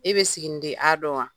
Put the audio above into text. E bɛ siginiden a dɔn wa